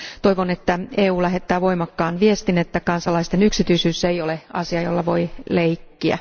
Toivon, että EU lähettää voimakkaan viestin, että kansalaisten yksityisyys ei ole asia, jolla voi leikkiä.